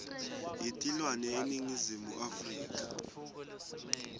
yetilwane eningizimu afrika